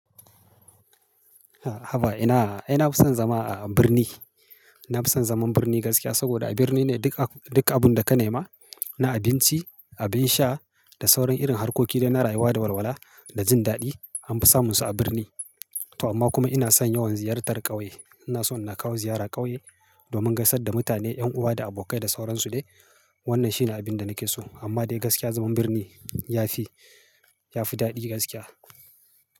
A haba ina, ina fison zama a birni. Na fison zaman birni gaskiya saboda a birni ne duk, duk abun da ka nema, na abinci, abin sha da sauran irin harkoki da na rayuwa da walwala da jin daɗi anfi samun su a birni. To amma kuma ina son yawan ziyartar ƙauye. Ina so ina kawo ziyara ƙauye domin gaisar da mutane, ƴan uwa da abokai da sauran su ne. Wannan shi ne abin da nake so. Amma dai gaskiya zaman birni ya fi, ya fi daɗi gaskiya.